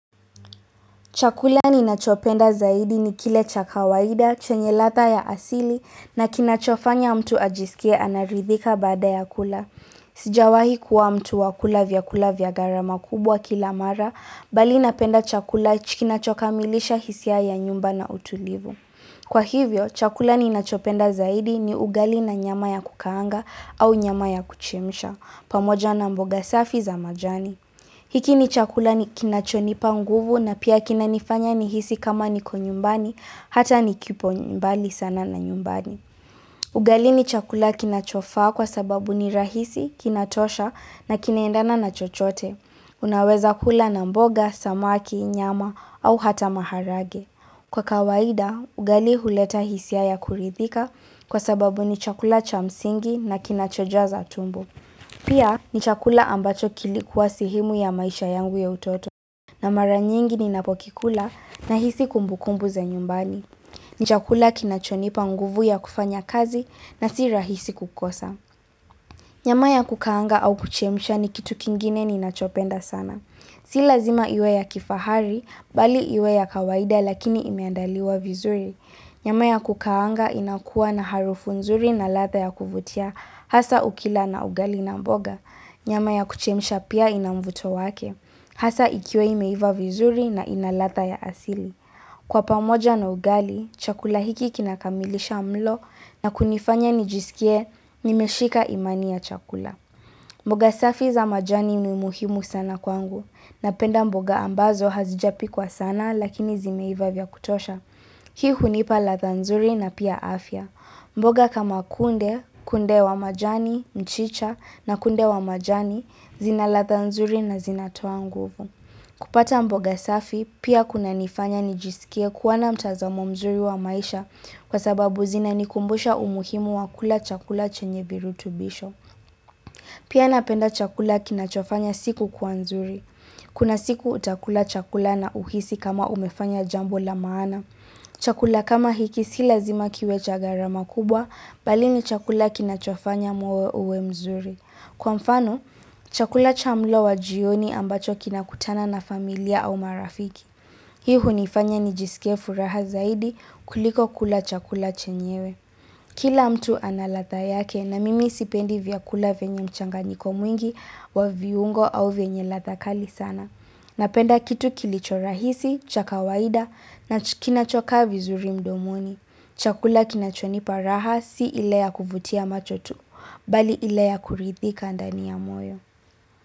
Chakula ninachopenda zaidi ni kile cha kawaida, chenye ladha ya asili, na kinachofanya mtu ajisikie anaridhika baada ya kula. Sijawahi kuwa mtu wa kula vyakula vya gharama kubwa kila mara, bali napenda chakula chi kinachokamilisha hisia ya nyumba na utulivu. Kwa hivyo, chakula ninachopenda zaidi ni ugali na nyama ya kukaanga au nyama ya kuchemsha, pamoja na mboga safi za majani. Hiki ni chakula kinachonipa nguvu na pia kinanifanya nihisi kama niko nyumbani, hata ni kipo ni mbali sana na nyumbani. Ugali ni chakula kinachofaa kwa sababu ni rahisi, kinatosha na kinaendana na chochote. Unaweza kula na mboga, samaki, nyama au hata maharage. Kwa kawaida, ugali huleta hisia ya kuridhika kwa sababu ni chakula cha msingi na kinachojaza tumbo. Pia ni chakula ambacho kilikuwa sehemu ya maisha yangu ya utoto na mara nyingi ninapokikula nahisi kumbukumbu za nyumbani ni chakula kinachonipa nguvu ya kufanya kazi na si rahisi kukosa Nyama ya kukaanga au kuchemsha ni kitu kingine ninachopenda sana Si lazima iwe ya kifahari, bali iwe ya kawaida lakini imeandaliwa vizuri Nyama ya kukaanga inakuwa na harufu nzuri na ladha ya kuvutia hasa ukila na ugali na mboga Nyama ya kuchemsha pia ina mvuto wake. Hasa ikiwa imeiva vizuri na inaladha ya asili. Kwa pamoja na ugali, chakula hiki kinakamilisha mlo na kunifanya nijisikie nimeshika imani ya chakula. Mboga safi za majani ni muhimu sana kwangu. Napenda mboga ambazo hazijapikwa sana lakini zimeiva vya kutosha. Hii hunipa ladha nzuri na pia afya. Mboga kama kunde, kunde wa majani, mchicha na kunde wa majani, zinaladha nzuri na zinatoa nguvu. Kupata mboga safi, pia kunanifanya nijisikie kuwa na mtazamo mzuri wa maisha kwa sababu zinanikumbusha umuhimu wa kula chakula chenye virutubisho. Pia napenda chakula kinachofanya siku kwa nzuri. Kuna siku utakula chakula na uhisi kama umefanya jambo la maana. Chakula kama hiki si lazima kiwe cha gharama kubwa, bali ni chakula kinachofanya moyo uwe mzuri. Kwa mfano, chakula cha mlo wa jioni ambacho kinakutana na familia au marafiki. Hii hunifanya nijisikie furaha zaidi kuliko kula chakula chenyewe. Kila mtu analadha yake na mimi sipendi vyakula vyenye mchanganyiko mwingi wa viungo au venye ladha kali sana. Napenda kitu kilicho rahisi, cha kawaida na kinachokaa vizuri mdomoni. Chakula kinachonipa raha si ile ya kuvutia macho tu, bali ile ya kuridhika ndani ya moyo.